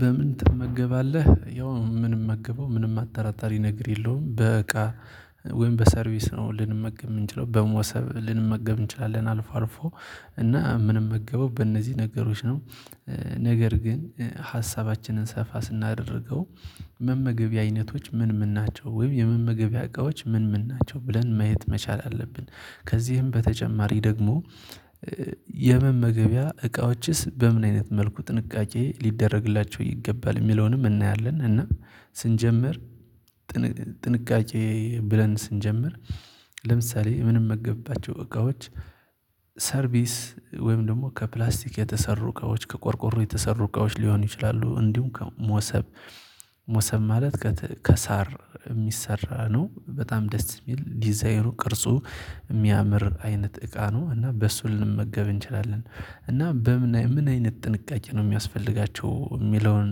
በምን ትመገባለህ? ያው ምንም ምንመገበው ምንም አጠራጣሪ ነገር የለውም በእቃ ወይም በሰርቪስ ነው ልንመገብ የምንችለው በመውሰብ ልንመገብ እንችላለን አልፎ አልፎ እና ምንመገበው በእነዚህ ነገሮች ነው። ነገር ግን ሀሳባችንን ሰፋ ስናደርገው። መመገቢያ አይነቶች ምን ምን ናቸው ወይም የመመገቢያ እቃዎች ምን ምን ናቸው ብለን ማየት መቻል አለብን። ከዚህም በተጨማሪ ደግሞ። የመመገቢያ እቃዎችስ በምን አይነት መልኩ ጥንቃቄ ሊደረግላቸው ይገባል የሚለውንም እናያለን። እና ስንጀምር። ጥንቃቄ ብለን ስንጀምር። ለምሳሌ ምንመገብባቸው እቃዎች ሰርቪስ ወይም ደግሞ ከፕላስቲክ የተሰሩ እቃዎች ከቆርቆሮ የተሰሩ እቃዎች ሊሆን ይችላሉ። እንዲሁም ከሞሰብ ሞሰብ ማለት ከሳር የሚሰራ ነው። በጣም ደስ እሚል ዲዛይኑ ቅርጹ እሚያምር አይነት እቃ ነው። እና በሱ ልንመገብ እንችላለን። እና በምን አይነት ጥንቃቄ ነው የሚያስፈልጋቸው የሚለውን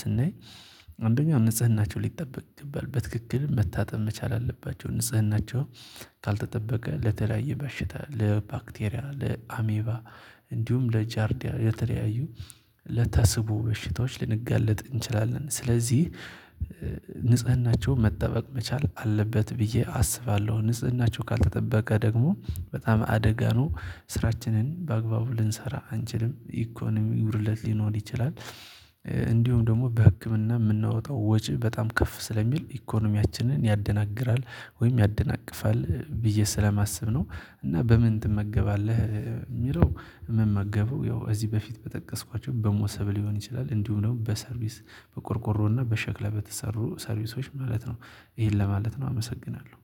ስናይ። አንደኛ ንጽህናቸው ሊጠበቅ ይገባል በትክክል መታጠብ መቻል አለባቸው። ንጽህናቸው ካልተጠበቀ ለተለያየ በሽታ ለባክቴሪያ ለአሜባ እንዲሁም ለጃርዲያ ለተለያዩ ለታስቡ በሽታዎች ልንጋለጥ እንችላለን። ስለዚህ ንጽህናቸውን መጠበቅ መቻል አለበት ብዬ አስባለሁ። ንጽህናቸው ካልተጠበቀ ደግሞ በጣም አደጋ ነው። ስራችንን በአግባቡ ልንሰራ አንችልም ኢኮኖሚ ጉድለት ሊኖር ይችላል። እንዲሁም ደግሞ በህክምና እምናወጣው ወጪ በጣም ከፍ ስለሚል ኢኮኖሚያችንን ያደናግራል ወይም ያደናቅፋል ብዬ ስለማስብ ነው። እና በምን ትመገባለህ? እሚለው ምመገበው ያው እዚህ በፊት በጠቀስኳቸው በሞሰብ ሊሆን ይችላል እንዲሁ ደግሞ በሰርቪስ በቆርቆሮና በሸክላ በተሰሩ ሰርቪሶች ማለት ነው። ይሄን ለማለት ነው አመሰግናለሁ